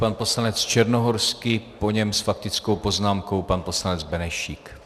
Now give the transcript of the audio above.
Pan poslanec Černohorský, po něm s faktickou poznámkou pan poslanec Benešík.